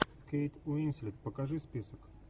кейт уинслет покажи список